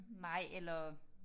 Nej eller